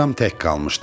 Atam tək qalmışdı.